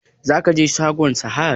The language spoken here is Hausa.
Za ka je shagon Sahad?